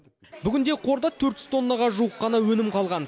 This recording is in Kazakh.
бүгінде қорда төрт жүз тоннаға жуық қана өнім қалған